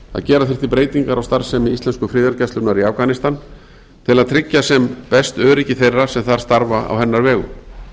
að gera þyrfti breytingar á starfsemi íslensku friðargæslunnar í afganistan til að tryggja sem best öryggi þeirra sem þar starfa á hennar vegum